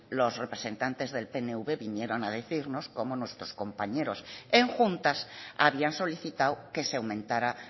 los representantes del pnv vinieron a decirnos cómo nuestros compañeros en juntas habían solicitado que se aumentara